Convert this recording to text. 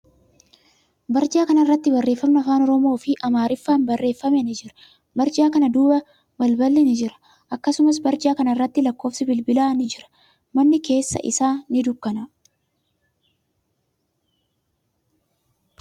Barjaa kana irratti barreeffamni afaan Oromoo fi Amaariffaan barreeffame ni jira. Barjaa kana duuba balballi ni jira. Akkasumas, barjaa kana irratti lakkoofsi bilbilaa ni jira. Manni keessi isaa ni dukkanaa'a.